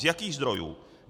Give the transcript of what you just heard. Z jakých zdrojů?